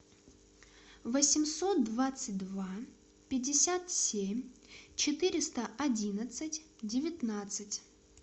восемьсот двадцать два пятьдесят семь четыреста одиннадцать девятнадцать